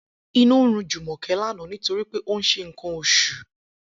Inú run Jùmò̩ké̩ lánàá nítorí pé ó ń s̩e nǹkan os̩ù